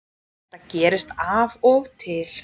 Þetta gerist af og til